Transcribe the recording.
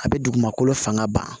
A bɛ dugumakolo fanga ban